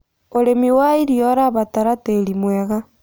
Ũrĩmĩ wa ĩrĩo ũrabatara tĩĩrĩ mwega